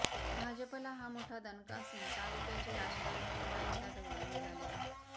भाजपला हा मोठा दणका असून तालुक्याचे राजकारण पुन्हा एकदा ढवळून निघाले आहे